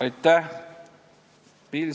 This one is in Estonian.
Aitäh!